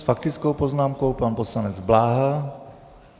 S faktickou poznámkou pan poslanec Bláha.